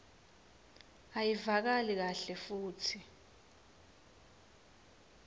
ayivakali kahle futsi